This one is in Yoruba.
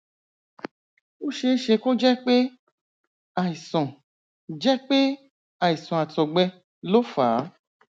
ó ṣeé ṣe kó jẹ pé àìsàn jẹ pé àìsàn àtọgbẹ ló fà á